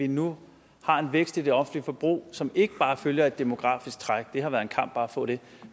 vi nu har en vækst i det offentlige forbrug som ikke bare følger det demografiske træk det har været en kamp bare at få det